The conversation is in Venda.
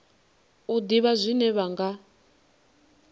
u ḓivha zwine vha nga